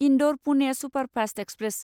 Indore Pune superfast express